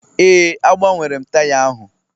Ee, agbanwere m taya ahụ